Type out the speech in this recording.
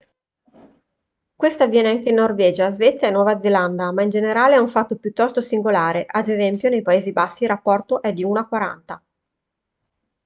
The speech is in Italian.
questo avviene anche in norvegia svezia e nuova zelanda ma in generale è un fatto piuttosto singolare ad es. nei paesi bassi il rapporto è di uno a quaranta